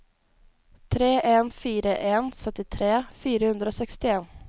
tre en fire en syttitre fire hundre og sekstien